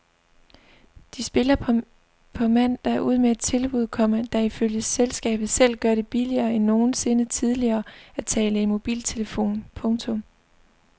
De spiller på mandag ud med et tilbud, komma der ifølge selskabet selv gør det billigere end nogensinde tidligere at tale i mobiltelefon. punktum